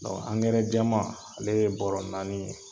jɛman ale ye bɔrɔ naani ye.